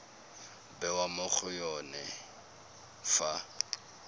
bewa mo go yone fa